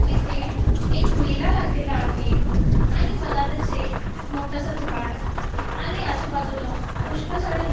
इथे एक मेला लागलेला आहे आणि मधातच एक मोठासा झाड आणि आजूबाजूला पुष्कळ सारे लो--